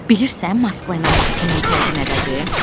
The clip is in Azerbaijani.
Bilirsən Moskva ilə Bakının fərqi nədədir?